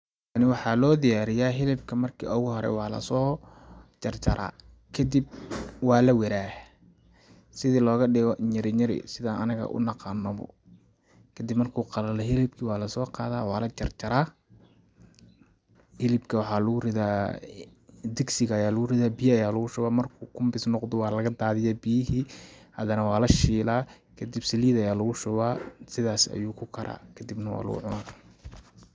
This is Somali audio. Tani waxaa loo diyariyaa ,hilbka markii ugu hore waa lasoo jarjaraa kadib waa lawaraah, sidi looga dhigo nyirinyiri sidaan anaga u naqaano ,kadib markuu qalalo hilibki waa lasoo qadaa waa la jarjaraa ,hilibka waxaa lagu ridaa.. digsiga ayaa lagu ridaa ,kadib biya ayaa lagu shubaa markuu kumbis noqdo waa laga dadiyaa biyihii ,hadane waa la shilaa kadib saliid ayaa lagu shubaa sidaasi ayuu ku karaa kadibna waa lagu cunaa.